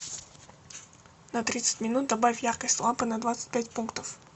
на тридцать минут добавь яркость лампы на двадцать пять пунктов